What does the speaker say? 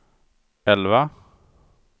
elva